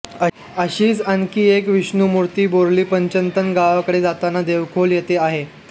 अशीच आणखी एक विष्णुमूर्ती बोर्लीपंचतन गावाकडे जाताना देवखोल येथे आहे